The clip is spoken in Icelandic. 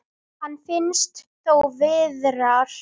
Hann finnst þó víðar.